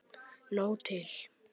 Nóg til.